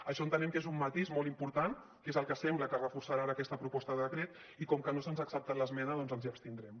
això entenem que és un matís molt important que és el que sembla que reforçarà ara aquesta proposta de decret i com que no se’ns ha acceptat l’esmena doncs ens hi abstindrem